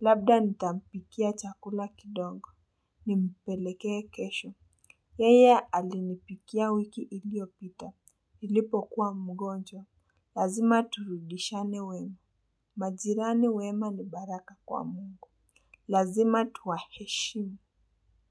Labda nitampikia chakula kidogo. Nimpelekee kesho. Yeye alinipikia wiki iliopita. niIipo kuwa mgonjwa. Lazima turudishiane wema. Majirani wema ni baraka kwa Mungu. Lazima tuwaheshimu.